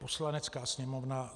Poslanecká sněmovna